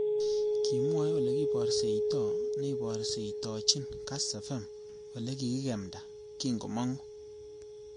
Kimwoe olekiborseito neiborostochin kass fm ole kikikemda kingomangu